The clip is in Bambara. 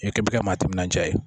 I kɛ bɛ kɛ maa timinandiya ye